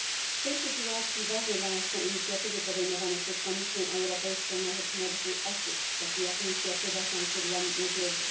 W tej sytuacji ważne dla nas są inicjatywy podejmowane przez Komisję Europejską na rzecz młodych osób, takie jak inicjatywa Szansy dla młodzieży.